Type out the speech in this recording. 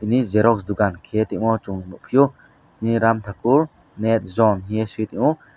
tini xerox dukan kheye tongmo chung nukphio ramthakur net zone hingye suitongo.